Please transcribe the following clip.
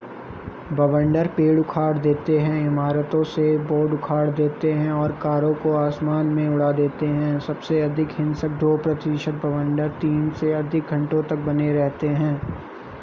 बवंडर पेड़ उखाड़ देते हैं इमारतों से बोर्ड उखाड़ देते हैं और कारों को आसमान में उड़ा देते हैं सबसे अधिक हिंसक दो प्रतिशत बवंडर तीन से अधिक घंटों तक बने रहते हैं